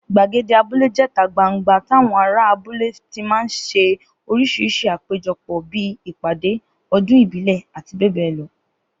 Gbàgede abúlé jé̩ta gbangba táwo̩n ará abule ti máa ń s̩e orís̩irís̩i àpéjo̩pò̩ bíi ìpàdé, o̩dún ìbílè̩, abbl.